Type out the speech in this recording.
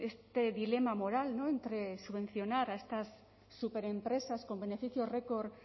este dilema moral entre subvencionar a estas superempresas con beneficios record